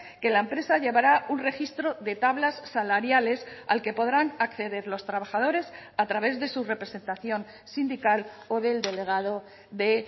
que la empresa llevará un registro de tablas salariales al que podrán acceder los trabajadores a través de su representación sindical o del delegado de